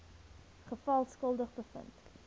geval skuldig bevind